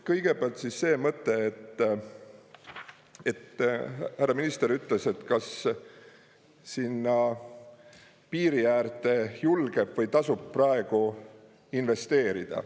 Kõigepealt siis see mõte, et härra minister ütles, et kas sinna piiri äärde julgeb või tasub praegu investeerida.